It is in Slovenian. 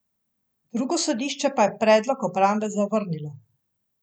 Drugo sodišče pa je predlog obrambe zavrnilo.